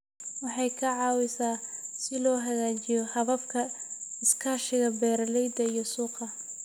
Waxay ka caawisaa si loo hagaajiyo hababka iskaashiga beeralayda iyo suuqa.